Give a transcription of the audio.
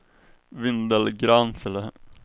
Vindelgransele